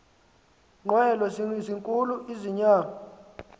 nqwelo zinkulu inyama